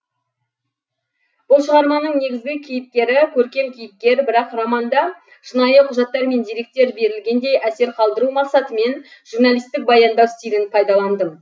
бұл шығарманың негізгі кейіпкері көркем кейіпкер бірақ романда шынайы құжаттар мен деректер берілгендей әсер қалдыру мақсатымен журналистік баяндау стилін пайдаландым